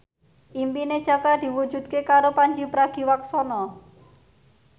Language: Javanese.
impine Jaka diwujudke karo Pandji Pragiwaksono